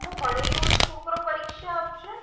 ભણેલૂ ઓય છોકરો પરીક્ષા આપશે,